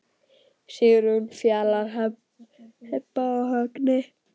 Sigrún, Fjalar, Heba og Högni.